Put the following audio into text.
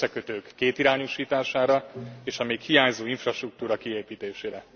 az összekötők kétirányúsítására, és a még hiányzó infrastruktúra kiépítésére.